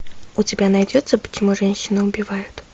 у тебя найдется почему женщины убивают